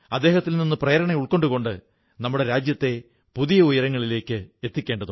ഇതിനെല്ലാമിടയിൽ നർമ്മബോധവും മികച്ചതായിരുന്ന ആ ഉരുക്കുമനുഷ്യനെക്കുറിച്ചു നിങ്ങൾ സങ്കല്പിച്ചുനോക്കൂ